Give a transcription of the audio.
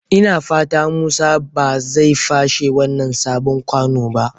Ina fata Musa ba zai fashe wannan sabon kwano ba.